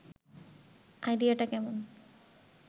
আইডিয়াটা কেমন